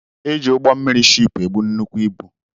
Eji ugbọ mmiri sheep ebu nnukwu ibu.